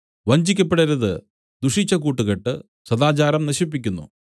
വഞ്ചിക്കപ്പെടരുത് ദുഷിച്ച കൂട്ടുകെട്ട് സദാചാരം നശിപ്പിക്കുന്നു